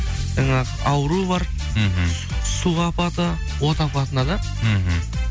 жаңағы ауру бар мхм су апаты от апатына да мхм